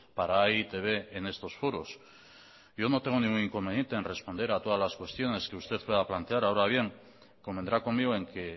para e i te be en estos foros yo no tengo ningún inconveniente en responder a todas las cuestiones que usted pueda plantear ahora bien convendrá conmigo en que